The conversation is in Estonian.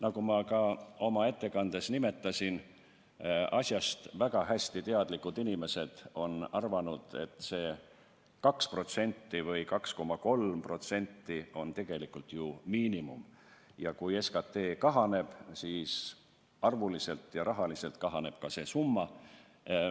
Nagu ma ka oma ettekandes nimetasin, asjaga väga hästi kursis olevad inimesed on arvanud, et see 2% või 2,3% on tegelikult ju miinimum ja kui SKT kahaneb, siis rahaliselt kahaneb ka see summa.